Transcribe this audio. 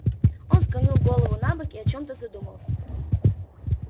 он склонил голову набок и о чём-то задумался